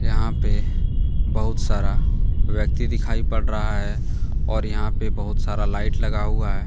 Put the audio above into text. यहां पे बहुत सारा व्यक्ति दिखाई पड़ रहा है और यहां पर बहुत सारा लाइट लगा हुआ है।